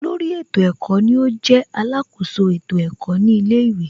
Olórí ètò ẹ̀kọ́ ni ó jẹ́ alákoso ètò ẹ̀kọ́ ní ilé ìwé